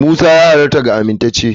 Musa ya halatta ga amintacce.